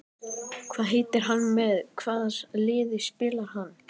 Hvað heitir hann og með hvaða liði spilar hann?